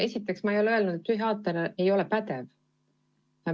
Esiteks, ma ei ole öelnud, et psühhiaater ei ole pädev.